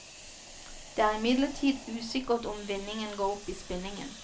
Det er imidlertid usikkert om vinningen går opp i spinningen.